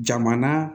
Jamana